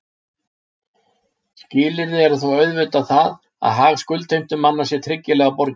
Skilyrði er þó auðvitað það að hag skuldheimtumanna sé tryggilega borgið.